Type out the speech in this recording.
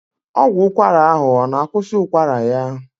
Ọgwụ ụkwara ahụ ọ na akwusi ụkwara ya?